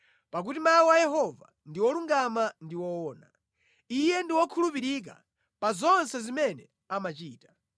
Pakuti mawu a Yehova ndi olungama ndi owona; Iye ndi wokhulupirika pa zonse zimene amachita.